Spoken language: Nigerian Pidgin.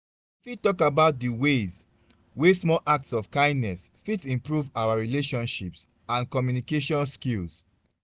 you fit talk about di ways wey small acts of kindness fit improve our relationships and communication skills.